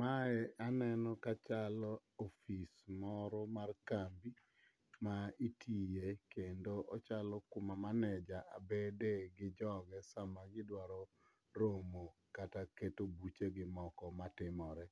Mae aneno kachalo ofis moro mar kambi ma itiye kendo ochalo kuma maneja bede gi joge sama gidwaro romo kata keto buchegi moko matimore.